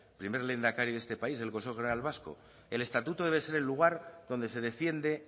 primer lehendakari de este país del consejo general vasco el estatuto debe ser el lugar donde se defiende